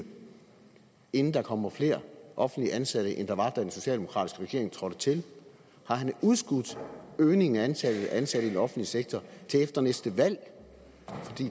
inden der kommer flere offentligt ansatte end der var da den socialdemokratiske regering trådte til har han udskudt øgningen af antallet af ansatte i den offentlige sektor til efter næste valg